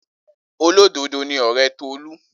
Olododo ni ọre Tolu.